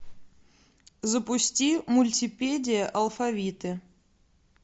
запусти мультипедия алфавиты